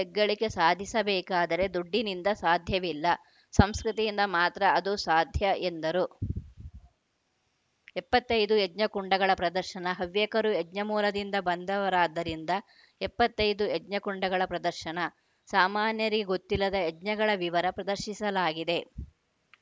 ದೇಶ ಹೆಗ್ಗಳಿಕೆ ಸಾಧಿಸಬೇಕಾದರೆ ದುಡ್ಡಿನಿಂದ ಸಾಧ್ಯವಿಲ್ಲ ಸಂಸ್ಕೃತಿಯಿಂದ ಮಾತ್ರ ಅದು ಸಾಧ್ಯ ಎಂದರು ಎಪ್ಪತ್ತ್ ಐದು ಯಜ್ಞ ಕುಂಡಗಳ ಪ್ರದರ್ಶನ ಹವ್ಯಕರು ಯಜ್ಞ ಮೂಲದಿಂದ ಬಂದವರಾದ್ದರಿಂದ ಎಪ್ಪತ್ತ್ ಐದು ಯಜ್ಞ ಕುಂಡಗಳ ಪ್ರದರ್ಶನ ಸಾಮಾನ್ಯರಿಗೆ ಗೊತ್ತಿಲ್ಲದ ಯಜ್ಞಗಳ ವಿವರ ಪ್ರದರ್ಶಿಸಲಾಗಿದೆ